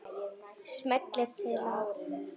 Smellið til að